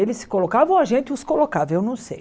Eles se colocavam, ou a gente os colocava, eu não sei.